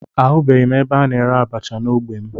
Ahụghị m ebe a na-ere abacha n'ogbe m